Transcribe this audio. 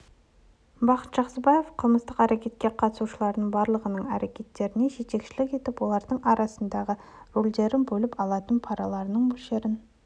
бақыт жақсыбаев қылмыстық әрекетке қатысушылардың барлығының әрекеттеріне жетекшілік етіп олардың арасындағы рөлдерді бөліп алатын параларының мөлшерін